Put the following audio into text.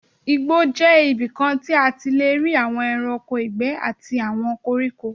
Igbó jẹ́ ibikan tí a ti lé rí àwon ẹranko ìgbé àti àwọn koríko.